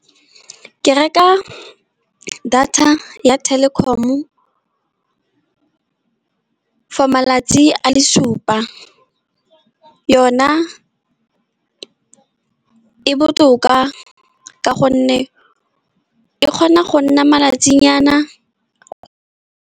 Ke reka data ya Telkom-o for malatsi a le supa. Yona e botoka ka gonne e kgona go nna malatsinyana.